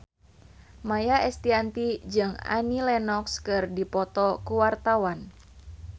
Maia Estianty jeung Annie Lenox keur dipoto ku wartawan